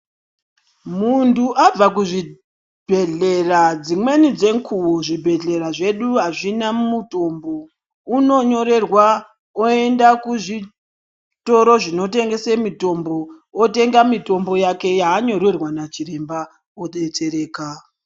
Muntu abva kuzvibhedhlera dzimweni dzenguwa zvibhedhlera zvedu azvina mutombo unonyorerwa oenda kuzvitoro zvinotengese mitombo, otenga mitombo yake yaanyorerwa nachiremba odetsereka.